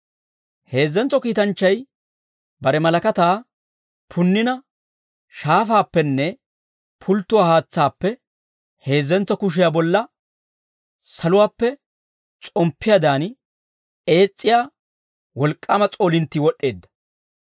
Heezzentso kiitanchchay bare malakataa punnina shaafaappenne pulttuwaa haatsaappe heezzentso kushiyaa bolla saluwaappe s'omppiyaadan ees's'iyaa wolk'k'aama s'oolinttii wod'd'eedda.